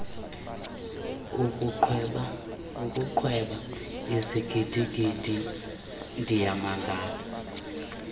ukuqweba izigidigidi ndiyamangala